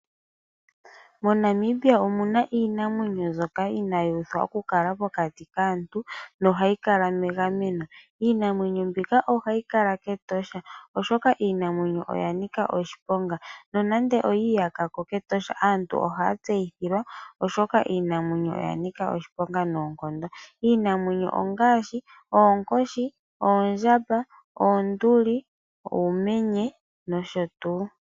MoNamibia omuna iinamwenyo mbyoka inaayi uthwa okukala pokati kaantu nohayi kala megameno. Iinamwenyo mbika ohayi kala kEtosha oshoka iinamwenyo oya nika oshiponga. Nonande oyi iyaka ko kEtosha aantu ohaya tseyithilwa oshoka iinamwenyo oya nika oshiponga noonkondo. Iinamwenyo ongaashi oonkoshi, oondjamaba, oonduli, uumenye nosho tuu.